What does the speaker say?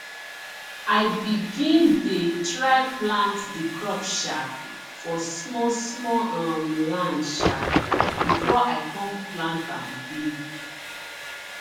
i begin dey try plant di crop um for small small um land um before i come plant am big